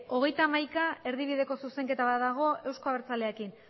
hogeita hamaika erdibideko zuzenketa bat dago euzko abertzaleekin